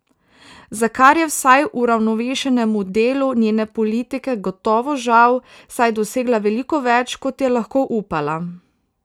Za kar je vsaj uravnovešenemu delu njene politike gotovo žal, saj je dosegla veliko več, kot je lahko upala.